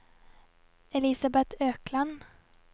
Elisabeth Økland